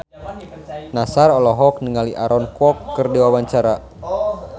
Nassar olohok ningali Aaron Kwok keur diwawancara